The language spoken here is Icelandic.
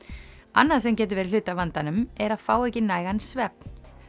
annað sem getur verið hluti af vandanum er að fá ekki nægan svefn